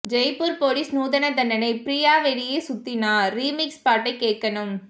Jaipur police நூதன தண்டனை ஃப்ரீயா வெளியே சுத்தினா ரீமிக்ஸ் பாட்டை கேட்கணும்